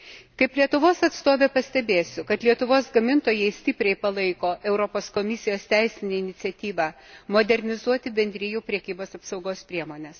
Kaip Lietuvos atstovė pastebėsiu, kad Lietuvos gamintojai stipriai palaiko Europos Komisijos teisinę iniciatyvą modernizuoti Bendrijų prekybos apsaugos priemones.